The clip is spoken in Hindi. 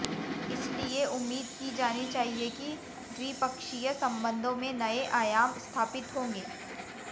इसलिए उम्मीद की जानी चाहिए कि द्विपक्षीय संबंधों में नये आयाम स्थापित होंगे